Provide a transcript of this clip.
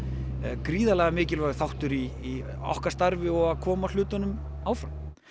gríðarlega mikilvægur þáttur í okkar starfi og í að koma hlutunum áfram